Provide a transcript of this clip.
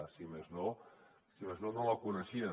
si més no no la coneixien